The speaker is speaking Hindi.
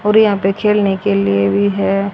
और यहां पे खेलने के लिए भी है।